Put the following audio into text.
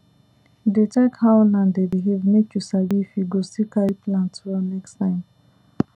dey check how land dey behave make you sabi if e go still carry plant well next time